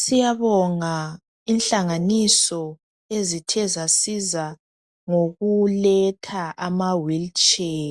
Siyabonga inhlanganiso ezithezasiza ngokuletha ama wheelchair,